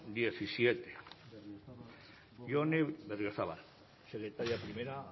vicepresidente número hamazazpi jone berriozabal secretaria primera